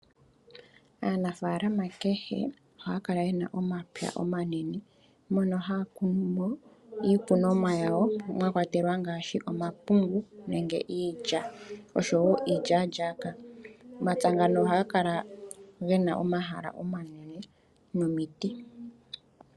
Aanafaalama kehe ohaya kala yena omapya omanene mono haya kuno mo iikunomwa yawo mwa kwatelwa ngaashi omapungu, nenge iilya nenge iilyalyaka . Omapya ngano ohaga kala yena omahala omanene nomiti.